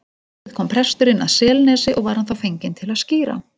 Um vorið kom presturinn að Selnesi og var hann þá fenginn til að skíra.